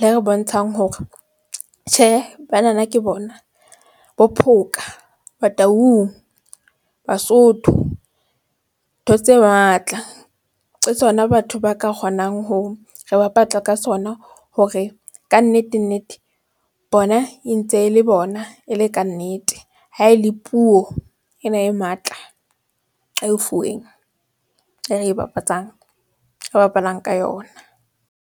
le re bontshang hore tjhe bana na ke bona, bo Phoka, Bataung, Basotho. Ntho tse matla. Ke tsona batho ba ka kgonang ho re ka sona hore kannete nnete bona, e ntse e le bona e le kannete. Ha e le puo ena e matla a e fuweng e re e bapatsang e bapalang ka yona.